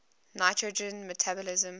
nitrogen metabolism